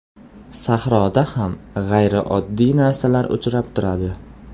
Sahroda ham g‘ayrioddiy narsalar uchrab turadi .